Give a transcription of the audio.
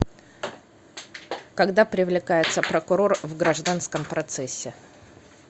когда привлекается прокурор в гражданском процессе